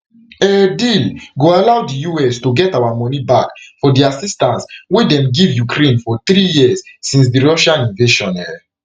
um deal go allow di us to get our money back for di assistance wey dem give ukraine for di three years since di russia invasion um